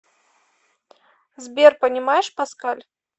сбер понимаешь паскаль